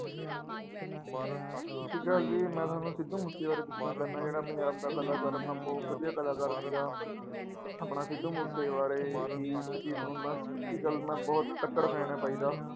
ਸਤਿ ਸ੍ਰੀ ਅਕਾਲ ਜੀ ਮੈਂ ਤੁਹਾਨੂੰ ਸਿੱਧੂ ਮੂਸੇ ਬਾਰੇ ਦੱਸਣਾ ਚਾਹੁਨਾ ਜਿਹੜਾ ਪੰਜਾਬ ਦਾ ਕਲਾਕਾਰ ਆਪਣਾ ਬਹੁਤ ਵਧੀਆ ਕਲਾਕਾਰ ਸੀਗਾ, ਆਪਣਾ ਸਿੱਧੂ ਮੂਸੇਵਾਲੇ ਦੀ ਇੱਕ ਚੀਜ਼ ਤੁਹਾਨੂੰ ਮੈਂ ਨਾ ਸੱਚੀ ਗੱਲ ਮੈਂ ਬਹੁਤ ਤੱਕੜ fan ਹਾਂ ਬਾਈ ਦਾ।